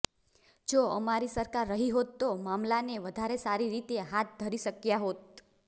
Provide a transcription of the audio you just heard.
જો અમારી સરકાર રહી હોત તો મામલાને વધારે સારીરીતે હાથ ધરી શક્યા હોત